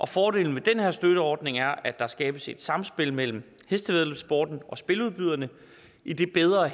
fordelen ved den her støtteordning er at der skabes et samspil mellem hestevæddeløbssporten og spiludbyderne idet bedre